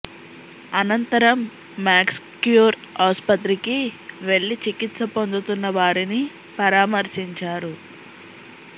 అనంతరం మ్యాక్స్క్యూర్ ఆసుపత్రికి వెళ్లి చికి త్స పొందుతున్న వారిని పరామర్శించారు